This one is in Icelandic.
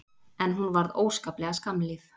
En hún varð óskaplega skammlíf.